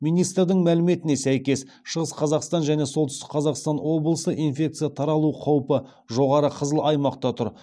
министрдің мәліметіне сәйкес шығыс қазақстан және солтүстік қазақстан облысы инфекция таралу қаупі жоғары қызыл аймақта тұр